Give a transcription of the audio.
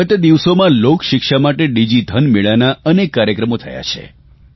ગત દિવસોમાં લોકશિક્ષા માટે ડીજીધન મેળાના અનેક કાર્યક્રમો થયા છે